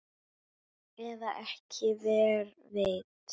Eða ekki, hver veit?